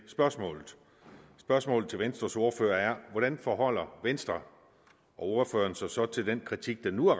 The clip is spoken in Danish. spørgsmålet spørgsmålet til venstres ordfører er hvordan forholder venstre og ordføreren sig så til den kritik der nu er